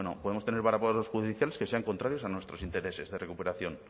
podemos tener varapalos judiciales que sean contrarios a nuestros intereses de recuperación